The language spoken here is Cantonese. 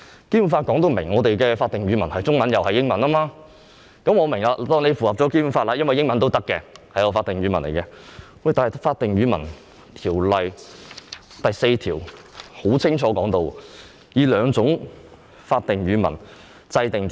《基本法》訂明我們的法定語文是中文和英文，我可以當作當局已符合《基本法》的規定，因英文也是法定語文，但《法定語文條例》第4條清楚訂明須以兩種法定語文制定條例。